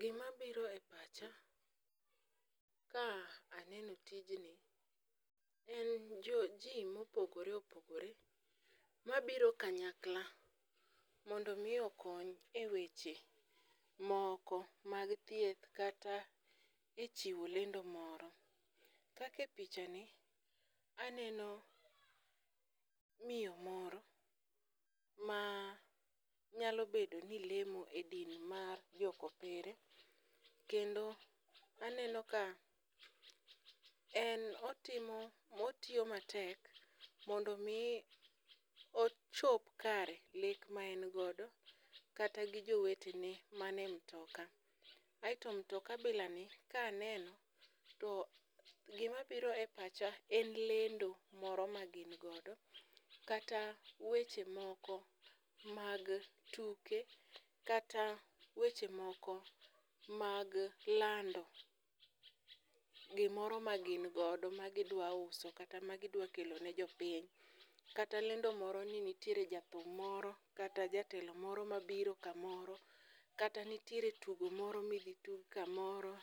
Gima biro e pacha, ka aneno tijni en jo ji mopogore opogore ma biro kanyakla. Mondo mi okony e weche moko mag thieth kata e chiwo lendo moro. Kate picha ni aneno miyo moro ma nyalo bedo ni lemo e din mar jokopere. Kendo aneno ka en otimo otiyo matek mondo mi ochop kare lek ma en godo kata gi jowetene mane mtoka. Aeto mtoka bila ni ka aneno to gima biro e pacha en lendo moro ma gin godo, kata weche moko mag tuke. Kata weche moko mag lando gimoro ma gin godo ma gidwa uso kata ma gidwa kelo ne jopiny. Kata lendo moro ni nitiere jathum moro kata jatelo moro ma biro kamoro. Kata nitiere tugo moro midhi tug kamoro,